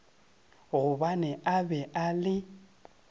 gobane a be a le